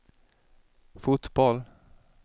fotboll